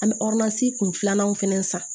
An bɛ kun filanan fɛnɛ san